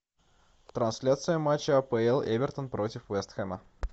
трансляция матча апл эвертон против вест хэма